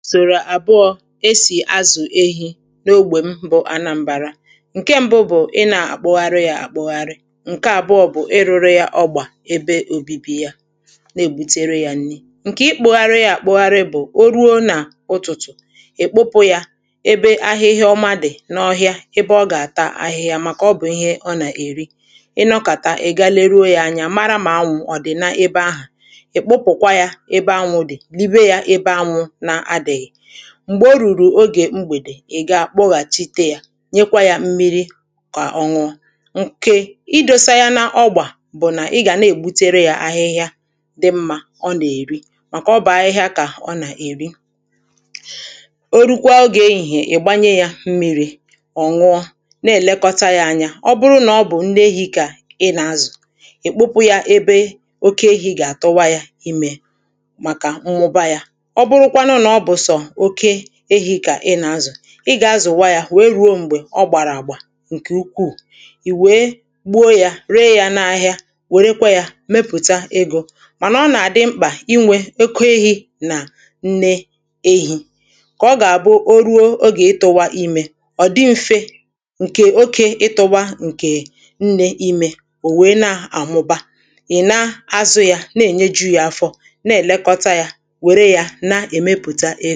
Usòrò àbụọ̇ esì azụ̀ ehi̇ n’ogbè m bụ̀ anambara ǹke ṁbụ̇ bụ̀ ị nà-àkpụgharị yȧ àkpụgharị ǹke àbụọ̇ bụ̀ ị rụrụ yȧ ọgbà ebe òbibi yȧ na-ègbutere yȧ nri ǹkè ịkpụgharị yȧ àkpụgharị bụ̀ o ruo nà ụtụ̀tụ̀ ị̀ kpụpụ yȧ ebe ahịhịa ọma dị n’ọhịȧ ebe ọ gà-àta ahịhịa màkà ọ bụ̀ ihe ọ nà-èri ị nọkàta ègala eruo yȧ anya mara mà anwụ̀ ọ̀ dị̀ n’ebe ahụ ikpupukwa ya ebe anwụ dị yibe ya ebe anwụ na adịghị m̀gbè o rùrù ogè mgbèdè ị̀ gaa kpọghàchite yȧ nyekwa yȧ mmiri kà ọ nwụọ nke idȯsa yȧ n’ọgbà bụ̀ nà ị gà na-ègbutere yȧ ahịhịa dị mmȧ ọ nà-èri màkà ọ bụ̀ ahịhịa kà ọ nà-èri [paues]o rukwa ogè ehihè ị̀ gbanye yȧ mmiri̇ ọ̀ nwụọ na-èlekọta yȧ anya ọ bụrụ nà ọ bụ̀ ndị ehi̇ kà ị nà-azụ̀ ị̀ kpụpụ yȧ ebe oke ehi̇ gà-àtụwa yȧ imė màkà mmụba yȧ oburukwanu na ọbu so oké èhi kà ị nà-azụ̀ ị gà-azụ̀wa yȧ wèe ruo m̀gbè ọ gbàrà àgbà ǹkè ukwuù ì wèe gbuo yȧ ree yȧ n’ahịa wèrèkwa yȧ mepụ̀ta egȯ mànà ọ nà-àdị mkpà inwè oké èhi nà nne ehi kà ọ gà-àbụ o ruo o gà-ịtụ̇wa imė ọ̀ dị mfė ǹkè oke ịtụ̇wa ǹkè nne imė ò wèe na-àmụba ị̀ na-azụ̇ yȧ na-ènyeju̇ yȧ afọ na-èlekọta yȧ wèrè ya na emepụta